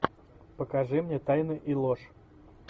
покажи мне тайны и ложь